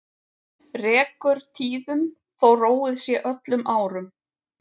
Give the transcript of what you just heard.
Rekur tíðum þó róið sé öllum árum.